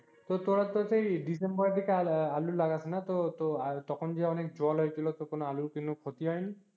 তো তোরা তো সেই ডিসেম্বরের দিকে আলু লাগাস না, তো তখন যে অনেক জল হয়েছিল, তখন আলুর কোন ক্ষতি হয়নি?